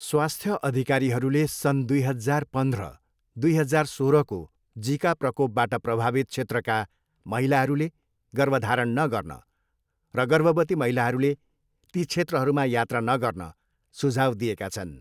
स्वास्थ्य अधिकारीहरूले सन् दुई हजार पन्ध्र, दुई हजार सोह्रको जिका प्रकोपबाट प्रभावित क्षेत्रका महिलाहरूले गर्भधारण नगर्न र गर्भवती महिलाहरूले ती क्षेत्रहरूमा यात्रा नगर्न सुझाउ दिएका छन्।